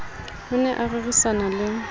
o ne a rerisana le